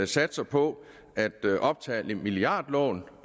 satser på at optage milliardlån